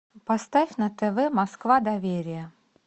поставь на тв москва доверие